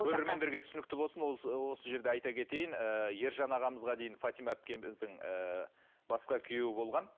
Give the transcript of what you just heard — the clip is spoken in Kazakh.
көрермендерге түсінікті болсын осы жерде айта кетейін ержан ағамызға дейін фатима әпкеміздің ыыы басқа күйеуі болған